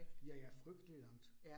Ja ja frygtelig langt